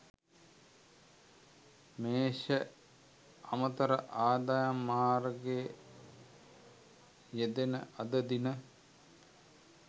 මේෂ අමතර ආදායම් මාර්ග යෙදෙන අද දින